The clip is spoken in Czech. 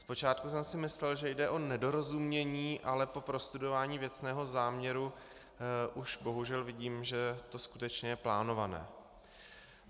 Zpočátku jsem si myslel, že jde o nedorozumění, ale po prostudování věcného záměru už bohužel vidím, že to skutečně je plánované.